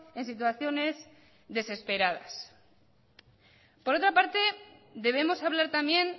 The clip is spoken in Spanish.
en situaciones desesperadas por otra parte debemos hablar también